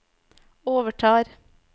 overtar